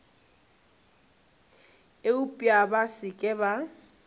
eupša ba se ke ba